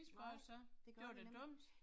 Nej, det gør nem